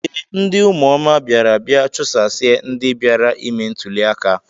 Ee, ndị ụmụoma bịara bịa chụsasịa ndị bịara ime ntụli aka.